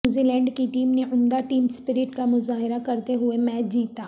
New Zealand کی team نے عمدہ ٹیم سپرٹ کا مظاہرہ کرتے ہوئے میچ جیتا